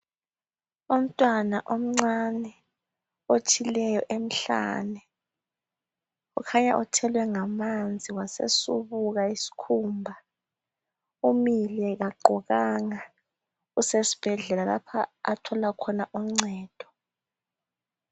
Umntwana omncane, otshileyo emhlana. Ukhanya uthelwe ngamanzi. Wasesubuka isikhumba. Umile, kagqokanga. Usesibhedlela, lapha athola khona uncedo.